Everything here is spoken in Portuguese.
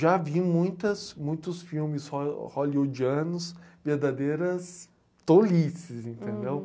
Já vi muitas, muitos filmes hó eh, hollywoodianos verdadeiras tolices, entendeu?